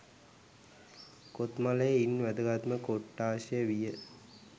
කොත්මලේ ඉන් වැදගත්ම කොට්ටාශය විය